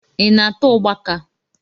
Ị na-ata ugbaka?